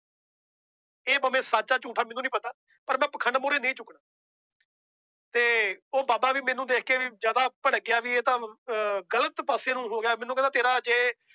ਇਹ ਭਾਵੇਂ ਸੱਚ ਆ ਝੂਠ ਆ ਮੈਨੂੰ ਨੀ ਪਤਾ ਪਰ ਮੈਂ ਪਾਖੰਡ ਮੂਹਰੇ ਨਹੀਂ ਝੁਕਣਾ ਤੇ ਉਹ ਬਾਬਾ ਵੀ ਮੈਨੂੰ ਦੇਖ ਕੇ ਵੀ ਜ਼ਿਆਦਾ ਭੜਕ ਗਿਆ ਵੀ ਇਹ ਤਾਂ ਅਹ ਗ਼ਲਤ ਪਾਸੇ ਨੂੰ ਹੋ ਗਿਆ ਮੈਨੂੰ ਕਹਿੰਦਾ ਤੇਰਾ ਜੇ